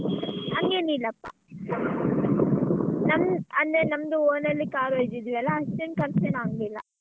ಹಂಗೇನ್ ಇಲ್ಲಪ್ಪಾ ನಮ್ ಅಂದ್ರೆ ನಮ್ದು own ಅಲ್ಲಿ car ಇದ್ದಿದ್ವಿಯಲ್ಲ ಅಷ್ಟೆನು ಖರ್ಚೆನು ಆಗ್ಲಿಲ್ಲ.